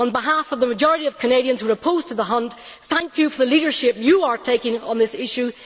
On behalf of the majority of Canadians who are opposed to the hunt, thank you for the leadership you are taking on this issue.